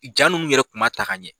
Ja nunnu yɛrɛ kun ma ta ka ɲɛ.